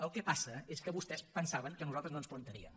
el que passa és que vostès pensaven que nosaltres no es plantaríem